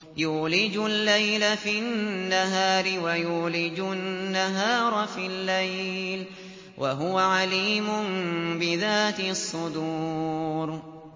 يُولِجُ اللَّيْلَ فِي النَّهَارِ وَيُولِجُ النَّهَارَ فِي اللَّيْلِ ۚ وَهُوَ عَلِيمٌ بِذَاتِ الصُّدُورِ